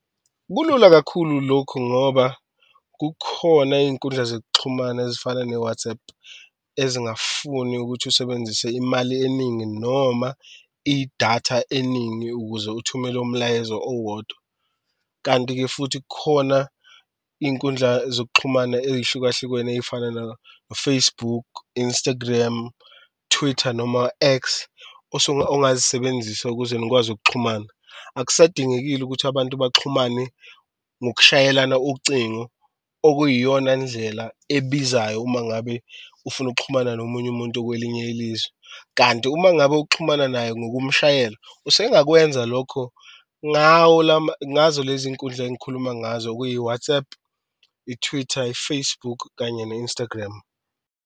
Kulula kakhulu lokhu ngoba kukhona iyinkundla zokuxhumana ezifana ne-WhatsApp ezingafuni ukuthi usebenzise imali eningi noma idatha eningi, ukuze uthumele umlayezo owodwa. Kanti-ke futhi kukhona inkundla zokuxhumana eyihlukahlukene ey'fana no-Facebook, Instagram, Twitter noma X ongazisebenzisa ukuze nikwazi ukuxhumana. Akusadingekile ukuthi abantu baxhumane ngokushayelana ocingo okuyiyona ndlela ebizayo uma ngabe ufuna ukuxhumana nomunye umuntu okwelinye ilizwe. Kanti uma ngabe uxhumana naye ngokumshayela usengakwenza lokho ngawo ngazo lezi nkundla engikhuluma ngazo okuyi-WhatsApp, i-Twitter, i-Facebook kanye ne-Instagram.